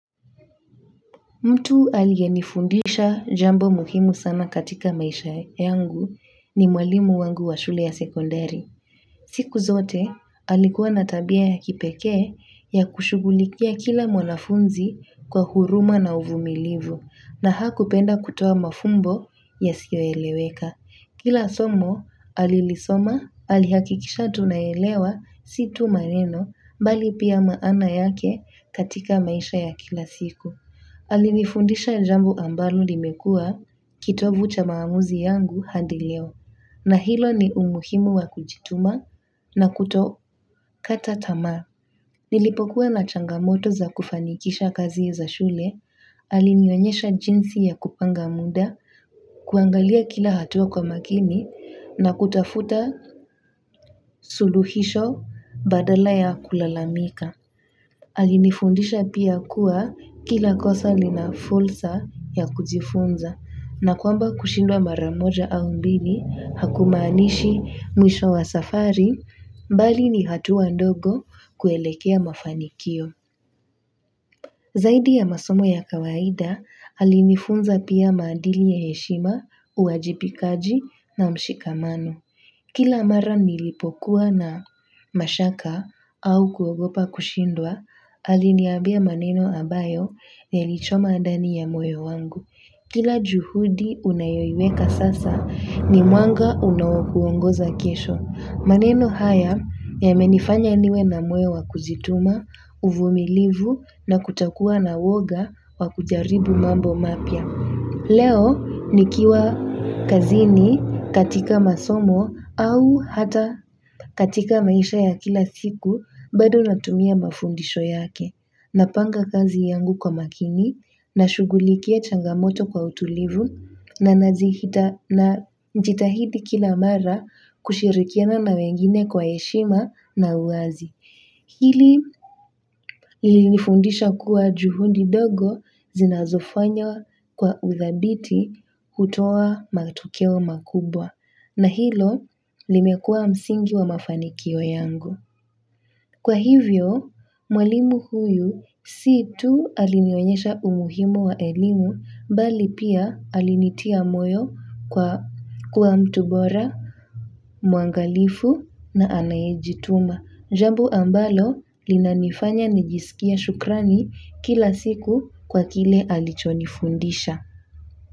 Mtu aliyenifundisha jambo muhimu sana katika maisha yangu ni mwalimu wangu wa shule ya sekondari siku zote alikuwa na tabia ya kipekee ya kushugulikia kila mwanafunzi kwa huruma na uvumilivu na hakupenda kutoa mafumbo ya siyoeleweka. Kila somo alilisoma alihakikisha tunaelewa si tu maneno mbali pia maana yake katika maisha ya kila siku. Alinifundisha jambo ambalo limekua kitovu cha maamuzi yangu hadi leo na hilo ni umuhimu wa kujituma na kuto kata tamaa nilipokuwa na changamoto za kufanikisha kazi za shule. Alinionyesha jinsi ya kupanga muda kuangalia kila hatua kwa makini na kutafuta suluhisho badala ya kulalamika. Alinifundisha pia kuwa kila kosa linafulsa ya kujifunza na kwamba kushindwa maramoja au mbili hakumaanishi mwisho wa safari mbali ni hatua ndogo kuelekea mafanikio. Zaidi ya masomo ya kawaida alinifunza pia maandili ya heshima uajibikaji na mshikamano. Kila mara nilipokuwa na mashaka au kuogopa kushindwa, aliniambia maneno ambayo yalichoma ndani ya moyo wangu. Kila juhudi unayoiweka sasa ni mwanga unao kuongoza kesho. Maneno haya yamenifanya niwe na moyo wa kujituma, uvumilivu na kutokuwa na uwoga wakujaribu mambo mapya. Leo nikiwa kazini katika masomo au hata katika maisha ya kila siku bado natumia mafundisho yake. Napanga kazi yangu kwa makini nashugulikia changamoto kwa utulivu na najitahidi kila mara kushirikiana na wengine kwa heshima na uwazi. Hili linifundisha kuwa juhudi ndogo zinazofanya kwa uthabiti kutoa matokeo makubwa na hilo limekua msingi wa mafanikio yangu. Kwa hivyo, mwalimu huyu si tu alinionyesha umuhimu wa elimu bali pia alinitia moyo kwa mtu bora, mwangalifu na anayijituma. Jambo ambalo linanifanya nijiskie shukrani kila siku kwa kile alichonifundisha.